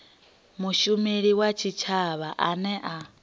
mushumeli wa tshitshavha ane a